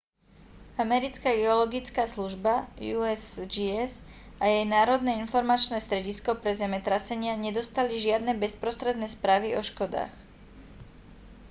americká geologická služba usgs a jej národné informačné stredisko pre zemetrasenia nedostali žiadne bezprostredné správy o škodách